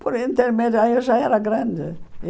Por intermédio, aí eu já era grande.